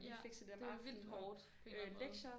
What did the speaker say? Ja det vildt hårdt på en eller anden måde